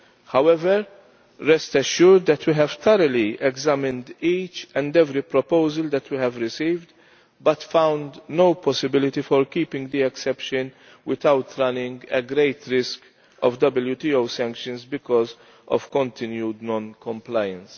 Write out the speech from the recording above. However, rest assured that we have thoroughly examined each and every proposal that we have received but found no possibility for keeping the exception without running a great risk of WTO sanctions because of continued non compliance.